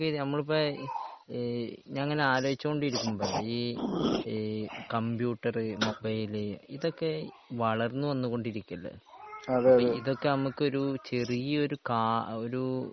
നമ്മളിപ്പോൾ ഈ ഞാൻ ഇങ്ങനെ ആലോയ്ച്ച് കൊണ്ടിരുന്നു. ഈ ഈ കമ്പ്യൂട്ടർ, മൊബൈൽ ഇതൊക്കെ വളർന്നു വന്ന് കൊണ്ടിരിക്കല്ലേ? ഇതൊക്കെ നമുക്കൊരു ചെറിയ ഒരു കാ ഒരു